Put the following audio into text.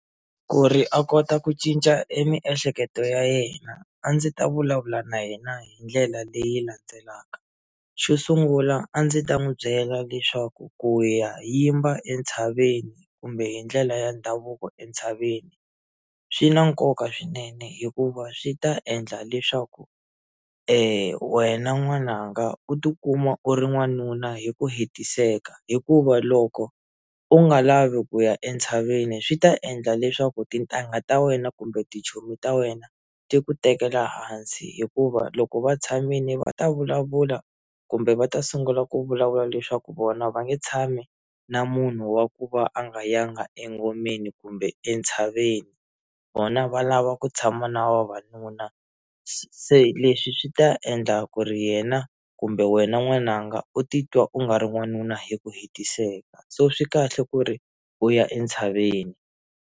Ku ri a kota ku cinca e miehleketo ya yena a ndzi ta vulavula na yena hi ndlela leyi landzelaka xo sungula a ndzi ta n'wi byela leswaku ku ya yimba entshaveni kumbe hi ndlela ya ndhavuko entshaveni swi na nkoka swinene hikuva swi ta endla leswaku wena n'wananga u tikuma u ri n'wanuna hi ku hetiseka hikuva loko u nga lavi ku ya entshaveni swi ta endla leswaku tintangha ta wena kumbe tichomi ta wena ti ku tekela hansi hikuva loko va tshamile va ta vulavula kumbe va ta sungula ku vulavula leswaku vona va nge tshami na munhu wa ku va a nga yanga engomeni kumbe entshaveni vona valava ku tshama na vavanuna se leswi swi ta endla ku ri yena kumbe wena n'wananga u titwa u nga ri n'wanuna hi ku hetiseka so swi kahle ku ri u ya entshaveni.